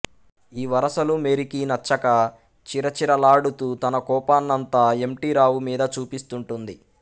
ఈ వరసలు మేరీకి నచ్చక చిరచిరలాడుతూ తన కోపాన్నంతా ఎమ్టీరావు మీద చూపిస్తూంటుంది